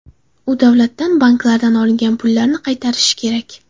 U davlatdan, banklardan olingan pullarni qaytarishi kerak.